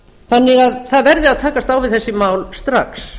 það verði því að lagst á við þessi mál strax